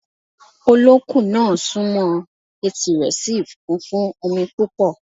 Olókun náà sún mọ́ ọn, etí rẹ̀ sì kún fún omi púpọ̀